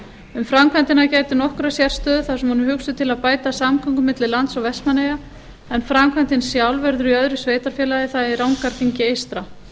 um framkvæmdina gætir nokkurrar sérstöðu þar sem hún er hugsuð til að bæta samgöngur milli lands og vestmannaeyja en framkvæmdin sjálf verður í öðru sveitarfélagi það er í rangárþingi eystra